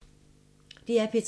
DR P3